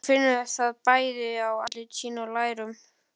Hún finnur það bæði á andliti sínu og lærum.